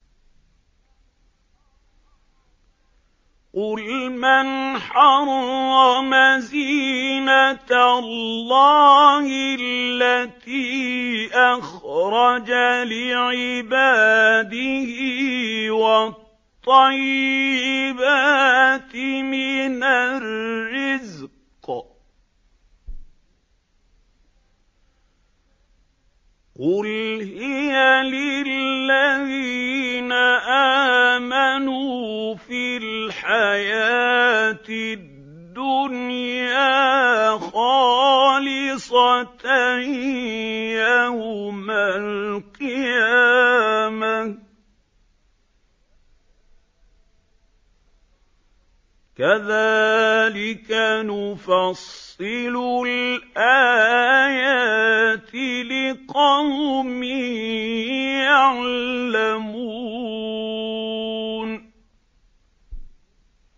قُلْ مَنْ حَرَّمَ زِينَةَ اللَّهِ الَّتِي أَخْرَجَ لِعِبَادِهِ وَالطَّيِّبَاتِ مِنَ الرِّزْقِ ۚ قُلْ هِيَ لِلَّذِينَ آمَنُوا فِي الْحَيَاةِ الدُّنْيَا خَالِصَةً يَوْمَ الْقِيَامَةِ ۗ كَذَٰلِكَ نُفَصِّلُ الْآيَاتِ لِقَوْمٍ يَعْلَمُونَ